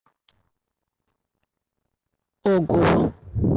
ого